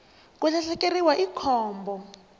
ku lahlekeriwa i khombo